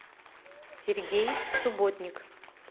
сергей субботник